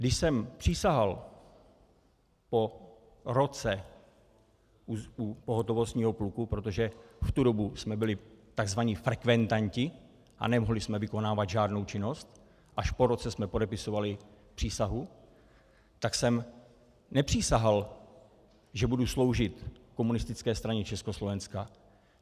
Když jsem přísahal po roce u pohotovostního pluku, protože v tu dobu jsme byli tzv. frekventanti a nemohli jsme vykonávat žádnou činnost, až po roce jsme podepisovali přísahu, tak jsem nepřísahal, že budu sloužit Komunistické straně Československa.